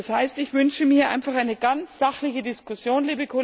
Das heißt Ich wünsche mir einfach eine ganz sachliche Diskussion.